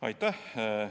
Aitäh!